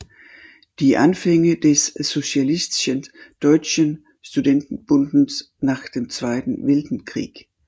Die Anfänge des Sozialistischen Deutschen Studentenbundes nach dem Zweiten Weltkrieg